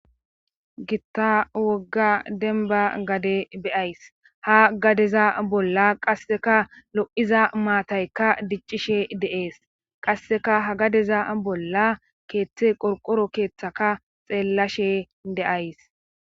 gitta wogga demba gade beyays ha gadeza bolla qasseka lo7iza maataykka diccishe de7ees qasseka ha gadeza bolla keethte qorqoro keeththaka xeellashe de'ays